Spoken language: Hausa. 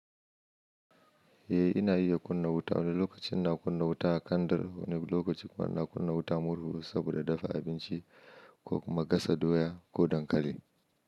Eh ina iya kunna wuta, wani lokacin na kunna wuta a kandar, wani lokacin kuma na kunna wuta murhu saboda dafa abinci ko kuma gasa doya ko dankali.